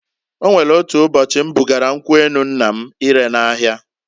O nwelu otu ụbọchị m bugara nkwu enu nna m ire n'ahia.